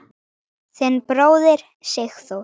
Þinn bróðir, Sigþór.